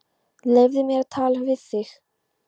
Leyfðu mér að tala við þig!